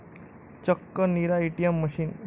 चक्क 'Neera ATM' machine!